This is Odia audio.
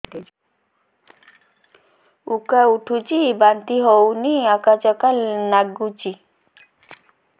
ଉକା ଉଠୁଚି ବାନ୍ତି ହଉନି ଆକାଚାକା ନାଗୁଚି